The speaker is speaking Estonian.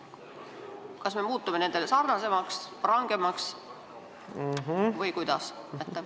Kas me muutume nendega sarnasemaks või nendest rangemaks või kuidas?